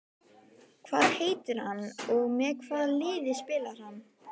Hvað heitir hann og með hvaða liði spilar hann?